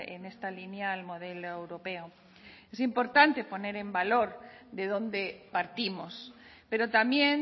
en esta línea al modelo europeo es importante poner en valor de dónde partimos pero también